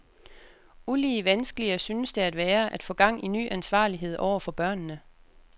Ulige vanskeligere synes det at være, at få gang i ny ansvarlighed overfor børnene.